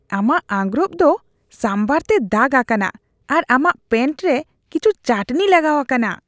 ᱟᱢᱟᱜ ᱟᱸᱜᱨᱚᱯ ᱫᱚ ᱥᱟᱢᱵᱷᱟᱨ ᱛᱮ ᱫᱟᱜ ᱟᱠᱟᱱᱼᱟ ᱟᱨ ᱟᱢᱟᱜ ᱯᱮᱱᱴ ᱨᱮ ᱠᱤᱪᱷᱩ ᱪᱟᱹᱴᱱᱤ ᱞᱟᱜᱟᱣ ᱟᱠᱟᱱᱟ ᱾